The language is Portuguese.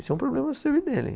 Isso é um problema seu e dele.